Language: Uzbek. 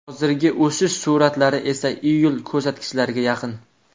Hozirgi o‘sish sur’atlari esa iyul ko‘rsatkichlariga yaqin.